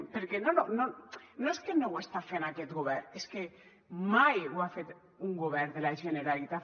perquè no és que no ho està fent aquest govern és que mai ho ha fet un govern de la generalitat